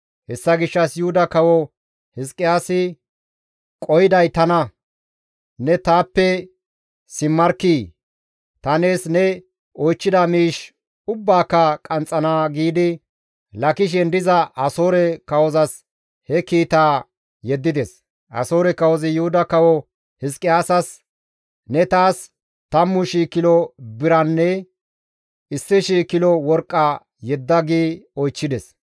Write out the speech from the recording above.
Hessa gishshas Yuhuda kawo Hizqiyaasi, «Qohiday tana; ne taappe simmarkkii! Ta nees ne oychchida miishshi ubbaaka qanxxana» giidi Laakishen diza Asoore kawozas he kiitaa yeddides. Asoore kawozi Yuhuda kawo Hizqiyaasas, «Ne taas 10,000 kilo biranne 1,000 kilo worqqa yedda» gi zaarides.